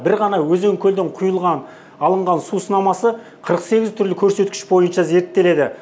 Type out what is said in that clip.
бір ғана өзен көлден құйылған алынған су сынамасы қырық сегіз түрлі көрсеткіш бойынша зерттеледі